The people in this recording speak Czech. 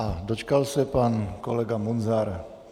A dočkal se pan kolega Munzar.